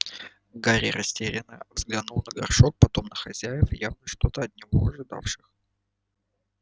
гарри растерянно взглянул на горшок потом на хозяев явно что-то от него ожидавших